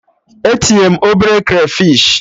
E tinye m obere krafish